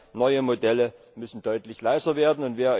Das heißt Neue Modelle müssen deutlich leiser werden.